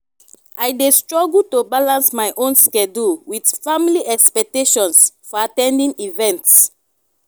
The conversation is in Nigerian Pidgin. i dey struggle to balance my own schedule with family expectations for at ten ding events.